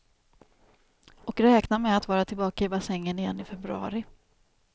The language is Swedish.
Och räknar med att vara tillbaka i bassängen igen i februari.